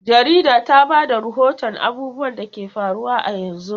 Jarida ta ba da rahoton abubuwan da ke faruwa a yanzu.